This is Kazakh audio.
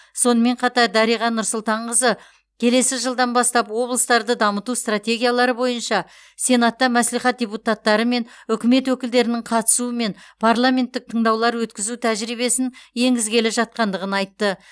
сонымен қатар дариға нұрсұлтанқызы келесі жылдан бастап облыстарды дамыту стратегиялары бойынша сенатта мәслихат депутаттары мен үкімет өкілдерінің қатысуымен парламенттік тыңдаулар өткізу тәжірибесін енгізгелі жатқандығын айтты